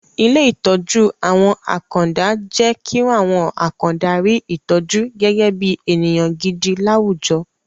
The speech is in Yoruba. Ilé ìtọ́jú àwọn àkàndá jẹ́ kí àwọn àkàndá rí ìtọ́jú gẹ́gẹ́ bí ènìyàn gidi láwùjọ